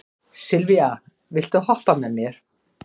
Sylvía, viltu hoppa með mér?